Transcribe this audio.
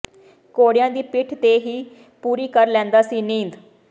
ਘੋੜਿਆਂ ਦੀ ਪਿੱਠ ਤੇ ਹੀ ਪੂਰੀ ਕਰ ਲੈਂਦਾ ਸੀ ਨੀਂਦ